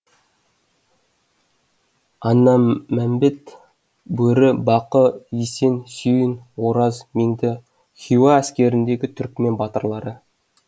аннамәмбет бөрі бақы есен сүйін ораз меңді хиуа әскеріндегі түрікмен батырлары